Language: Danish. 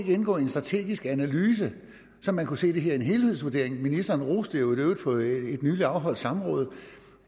indgå i en strategisk analyse så man kunne se det her en helhedsvurdering ministeren roste i øvrigt på et nyligt afholdt samråd